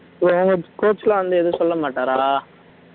coach coach எல்லாம் வந்து எதுவும் சொல்ல மாட்டாரா